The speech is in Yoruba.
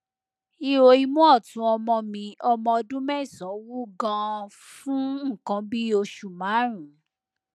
ihò imú ọtún ọmọ mi ọmọ ọdún mẹsànán wú ganan fún nǹkan bí oṣù márùnún